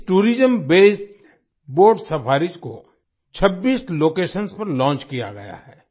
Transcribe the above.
इस tourism based boat safaris को 26 locations पर लॉन्च किया गया है